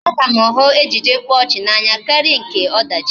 A ka m hụ ejije mkpaọchị n'anya karịa nke ọdachi